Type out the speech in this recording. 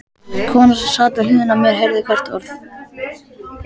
Konan sem sat við hliðina á mér heyrði hvert orð.